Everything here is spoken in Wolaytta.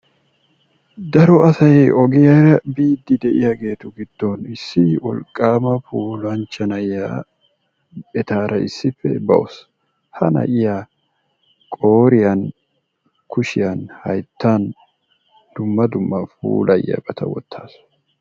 Daro asay ogiyaa biidi de'iyaageetu giddon issi wolqqama puulanchcha na'iyaa etaara issippe baawus. Ha na'iyaa kushiyan qooriyaan hayttan dumma dumma puulayiyaabata wotaawus.